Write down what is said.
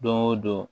Don o don